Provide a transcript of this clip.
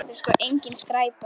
Þetta er sko engin skræpa.